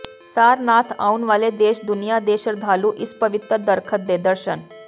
ਸਾਰਨਾਥ ਆਉਣ ਵਾਲੇ ਦੇਸ਼ ਦੁਨੀਆਂ ਦੇ ਸ਼ਰਧਾਲੂ ਇਸ ਪਵਿੱਤਰ ਦਰੱਖਤ ਦੇ ਦਰਸ਼ਨ